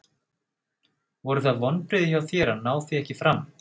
Voru það vonbrigði hjá þér að ná því ekki fram?